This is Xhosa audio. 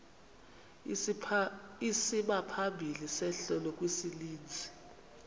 isimaphambili sehlelo kwisininzi